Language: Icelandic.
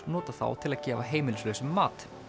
notað þá til að gefa heimilislausum mat